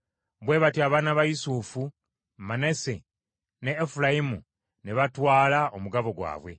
Bwe batyo abaana ba Yusufu: Manase ne Efulayimu ne batwala omugabo gwabwe.